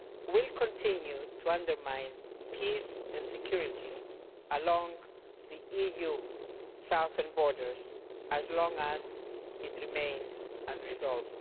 will continue to undermine peace and security along the EU's southern borders as long as it remains unresolved.